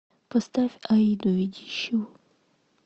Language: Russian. поставь аиду ведищеву